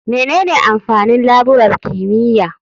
Menene amfanin laburar kimiyya?